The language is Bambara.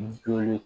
Joli